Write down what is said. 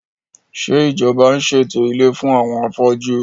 Ṣé ìjọba ń ṣètò ilé fún àwọn afójú?